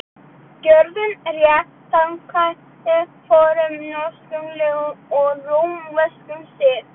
Gjörið rétt samkvæmt fornum norskum lögum og rómverskum sið.